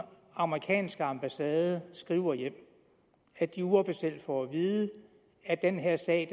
amerikanske ambassade skriver hjem at de uofficielt får at vide at den her sag